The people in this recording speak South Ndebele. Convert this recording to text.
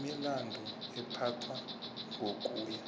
imilandu iphathwa ngokuya